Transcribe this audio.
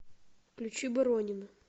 включи боронина